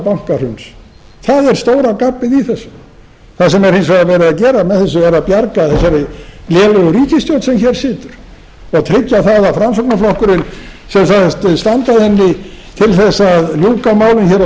bankahruns það er stóra gabbið í þessu það sem er hins vegar verið að gera með þessu er að bjarga þessari lélegu ríkisstjórn sem hér situr og tryggja að framsóknarflokkurinn sem sagðist standa að henni til þess að ljúka málum hér á